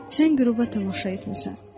Sən qüruba tamaşa etmisən.